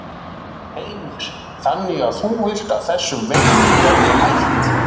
Heimir: Þannig að þú vilt að þessum veiðum verði hætt?